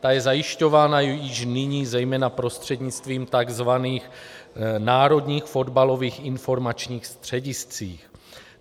Ta je zajišťována již nyní zejména prostřednictvím tzv. národních fotbalových informačních středisek.